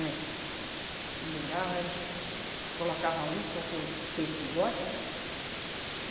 É. Pendurava a is, eh, colocava a isca, o que o peixe gosta, né?